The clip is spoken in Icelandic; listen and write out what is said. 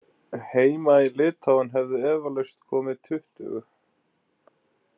Heima í Litáen hefðu eflaust komið tuttugu.